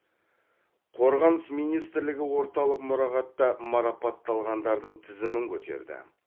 қорғаныс министрлігі орталық мұрағатта марапатталғандардың тізімін көтерді